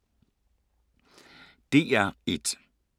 DR1